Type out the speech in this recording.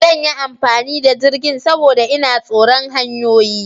Zan yi amfani da jirgin, saboda ina tsoron hanyoyi.